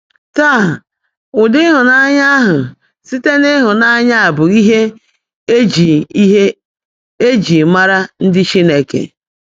Táá, ụ́dị́ óbíọ́mã áhụ́ síte n’ị́hụ́nányá bụ́ íhe è jị́ íhe è jị́ máàrá ndị́ Chínekè.